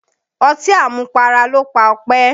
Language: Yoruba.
Ọtí àmupara ló pa Ọpẹ́.